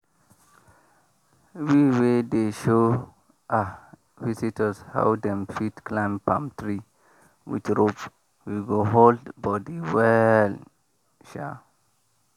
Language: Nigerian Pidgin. we we dey show visitors how dem fit climb palm tree with rope wey go hold body well. um